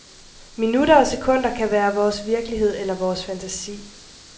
Minutter og sekunder kan være vores virkelighed eller vores fantasi.